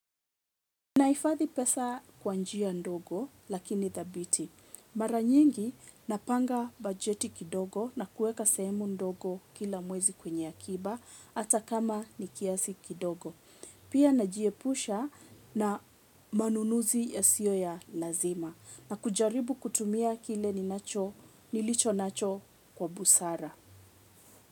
Nahifathi pesa kwa njia ndogo lakini thabiti. Mara nyingi napanga bajeti kidogo na kueka sehemu ndogo kila mwezi kwenye akiba hata kama nikiasi kidogo. Pia najiepusha na manunuzi ya sio ya lazima na kujaribu kutumia kile nilicho nacho kwa busara.